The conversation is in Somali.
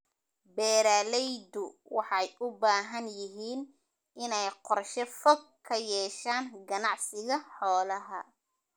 Beeralaydu waxay u baahan yihiin inay qorshe fog ka yeeshaan ganacsiga xoolaha.